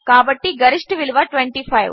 కాబట్టి గరిష్ఠ విలువ 25